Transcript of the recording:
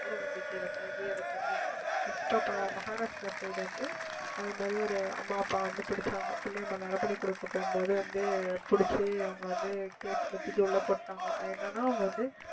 மூட நம்பிக்கையில மூழ்கி அதை பண்ணி இப்ப மஹாராஷ்டிரா side வந்து அது மாதிரி ஒரு அம்மா அப்பா வந்து பிடிச்சாங்க பிள்ளையை நரபலி கொடுக்க போகும்போது வந்து பிடிச்சு அவங்களை வந்து case ல தூக்கி உள்ள போட்டுட்டாங்க என்னன்னா அவங்க வந்து